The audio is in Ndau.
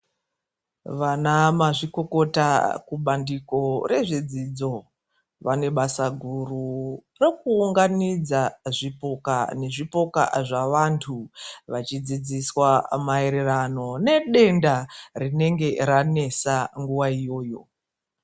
Vana mazvikokota kubandiko rezvedzidzo vane basa guru rekuunganidza zvipoka nezvipoka zvavantu, vachidzidziswa maererano nedenda rinenge ranesa nguwa iyoyo.